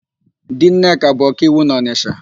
Di Nneka bụ ọkaiwu na ọnịsha.